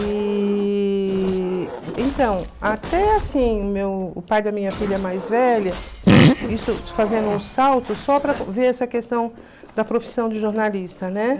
E, então, até assim, o meu o pai da minha filha mais velha, isso fazendo um salto só para ver essa questão da profissão de jornalista, né?